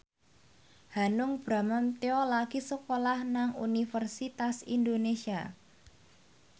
Hanung Bramantyo lagi sekolah nang Universitas Indonesia